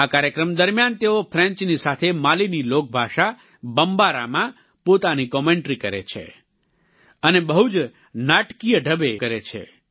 આ કાર્યક્રમ દરમિયાન તેઓ ફ્રેન્ચની સાથે માલીની લોકભાષા બમ્બારામાં પોતાની કોમેન્ટ્રી કરે છે અને બહુ જ નાટકિય ઢબે કરે છે